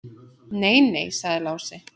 Nei, nei, sagði Lási.